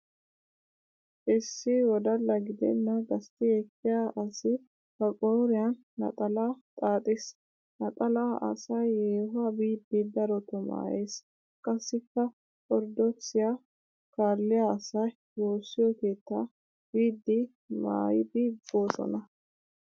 Issi wdalla gidenna gastti ekkiya asi ba qooriyan naxalaa xaaxis. Naxalaa asay yeehuwa biiddi darotoo maayes qassikka orddookisiya kaalliya asay woosiyo keettaa biiddi maayidi boosona.